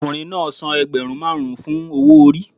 Ọkùnrin náà san ẹgbẹ̀rún márùn-ún fún owó orí.